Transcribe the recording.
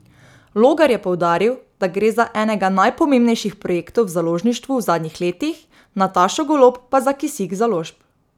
Logar je poudaril, da gre za enega najpomembnejših projektov v založništvu v zadnjih letih, Natašo Golob pa za kisik založb.